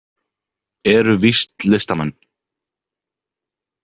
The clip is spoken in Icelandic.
Eru víst listamenn.